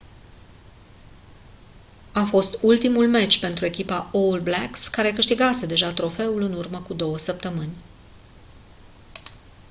a fost ultimul meci pentru echipa all blacks care câștigase deja trofeul în urmă cu două săptămâni